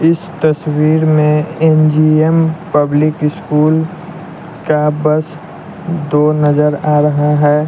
इस तस्वीर में एन_जी_एम पब्लिक स्कूल का बस दो नजर आ रहा हैं।